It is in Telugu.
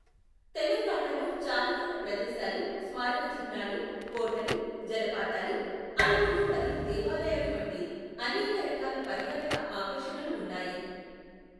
తెలంగాణలో చారిత్రక ప్రదేశాలు, స్మారక చిహ్నాలు, కోటలు, జలపాతాలు, అడవులు మరియు దేవాలయాలు వంటి అనేక రకాల పర్యాటక ఆకర్షణలు ఉన్నాయి.